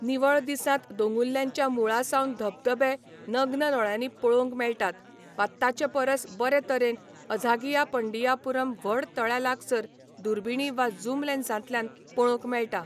निवळ दिसांत दोंगुल्ल्यांच्या मुळासावन धबधबे नग्न दोळ्यांनी पळोवंक मेळटात, वा ताचे परस बरे तरेन अझागियापंडियापुरम व्हड तळ्या लागसार दुर्बिणी वा जूम लेन्सांतल्यान पळोवंक मेळटा .